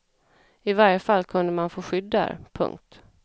I varje fall kunde man få skydd där. punkt